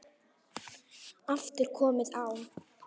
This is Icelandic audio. aftur komið á.